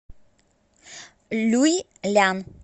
люйлян